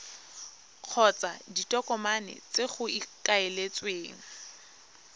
kgotsa ditokomane tse go ikaeletsweng